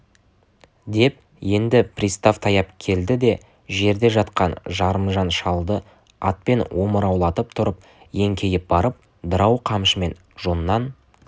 деп енді пристав таяп келді де жерде жатқан жарымжан шалды атпен омыраулатып тұрып еңкейіп барып дырау қамшымен жоннан